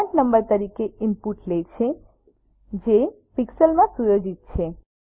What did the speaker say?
font size number તરીકે input લે છે જે પિક્સેલ્સ માં સુયોજિત છે